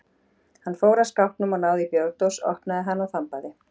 Hann fór að skápnum og náði í bjórdós, opnaði hana og þambaði.